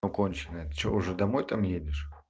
но конченая ты что уже домой там едешь